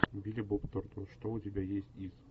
билли боб торнтон что у тебя есть из